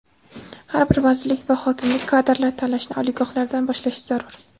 Har bir vazirlik va hokimlik kadrlar tanlashni oliygohlardan boshlashi zarur.